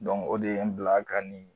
Dɔnku o de ye n bila ka nin